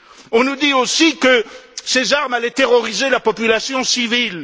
On nous dit aussi que ces armes allaient terroriser la population civile.